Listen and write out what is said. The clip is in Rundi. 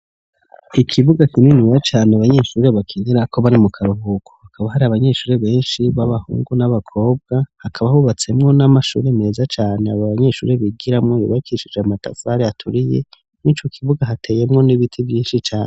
Ikibuga kininiya cane abanyeshuri bakinerako bari mu karuhuko. Hakaba hari abanyeshuri benshi b'abahungu n'abakobwa, hakaba hubatsemwo n'amashuri meza cane abo banyeshuri bigiramwo yubakishije amatafari aturiye, mw' ico kibuga hateyemwo n'ibiti vyinshi cane.